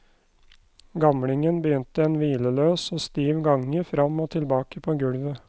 Gamlingen begynte en hvileløs og stiv gange fram og tilbake på gulvet.